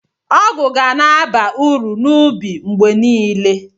Ọgụ ga na-aba uru n'ubi mgbe niile.